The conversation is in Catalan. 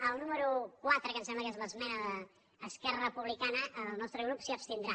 al número quatre que em sembla que és l’esmena d’es·querra republicana el nostre grup s’hi abstindrà